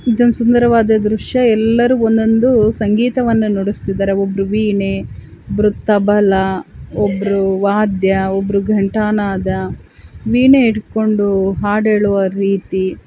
ಇದು ಒಂದು ಸುಂದರವಾದ ದುರ್ಷ್ಯ ಎಲ್ಲರೂ ಒಂದೊಂದು ಸಂಗೀತವನ್ನು ನುಡಿಸ್ತಾಯಿದಾರೆ ಒಬ್ರು ವೀಣೆ ಒಬ್ರು ತಬಲಾ ಒಬ್ರು ವಾದ್ಯ ಒಬ್ರು ಘಂಟಾ ನಾದ ವೀಣೆ ಇಡ್ಕೊಂಡು ಹಾಡ್ ಹೇಳುವ ರೀತಿ--